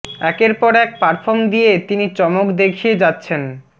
একের পর এক পারফর্ম দিয়ে তিনি চমক দেখিয়ে যাচ্ছেন